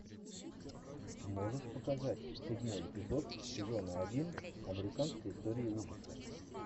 можешь показать седьмой эпизод сезона один американской истории ужасов